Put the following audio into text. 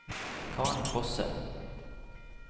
Karen Fosse